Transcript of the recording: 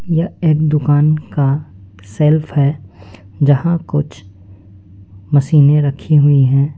यह एक दुकान का शेल्फ है जहां कुछ मशीनें रखी हुई है।